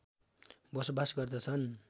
बसोवास गर्दछन्